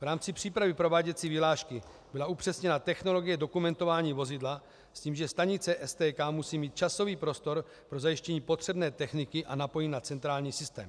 V rámci přípravy prováděcí vyhlášky byla upřesněna technologie dokumentování vozidla s tím, že stanice STK musí mít časový prostor pro zajištění potřebné techniky a napojení na centrální systém.